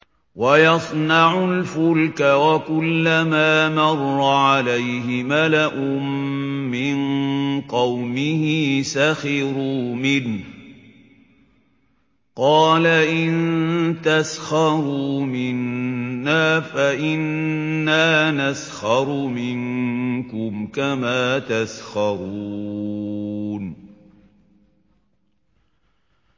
وَيَصْنَعُ الْفُلْكَ وَكُلَّمَا مَرَّ عَلَيْهِ مَلَأٌ مِّن قَوْمِهِ سَخِرُوا مِنْهُ ۚ قَالَ إِن تَسْخَرُوا مِنَّا فَإِنَّا نَسْخَرُ مِنكُمْ كَمَا تَسْخَرُونَ